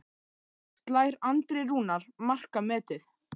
Slær Andri Rúnar markametið?